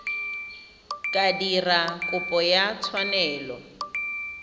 ka dira kopo ya tshwanelo